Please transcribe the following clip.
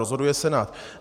Rozhoduje senát.